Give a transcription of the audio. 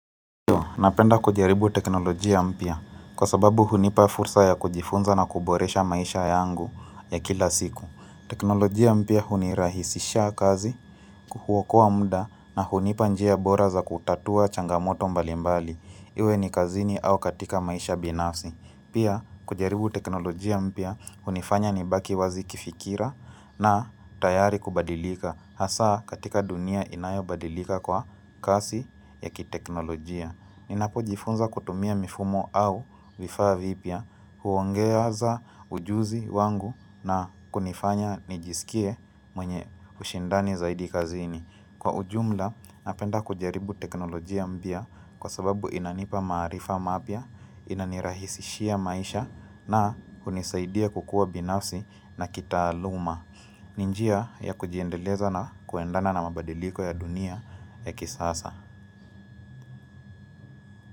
Napenda kujaribu teknolojia mpya kwa sababu hunipa fursa ya kujifunza na kuboresha maisha yangu ya kila siku. Teknolojia mpia hunirahisisha kazi kuokoa mda na hunipa njia bora za kutatua changamoto mbalimbali. Iwe ni kazini au katika maisha binafsi. Pia kujaribu teknolojia mpya hunifanya nibaki wazi kifikira na tayari kubadilika. Hasa katika dunia inayo badilika kwa kasi ya kiteknolojia. Ninapo jifunza kutumia mifumo au vifaa vipya huongeza ujuzi wangu na kunifanya nijisikie mwenye ushindani zaidi kazini. Kwa ujumla napenda kujaribu teknolojia mpya kwa sababu inanipa maarifa mapya, inanirahisishia maisha na hunisaidia kukua binafsi na kitaaluma. Ni njia ya kujiendeleza na kuendana na mabadiliko ya dunia ya kisasa.